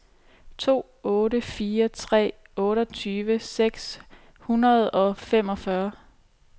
to otte fire tre otteogtyve seks hundrede og femogfyrre